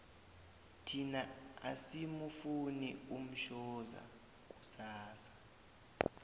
thina asimufuni umshoza kusasa